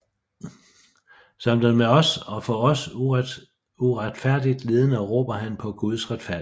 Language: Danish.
Som den med os og for os uretfærdigt lidende råber han på Guds retfærdighed